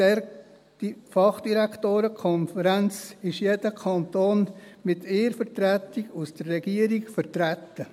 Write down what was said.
In dieser Fachdirektorenkonferenz ist jeder Kanton mit einer Vertretung der Regierung vertreten.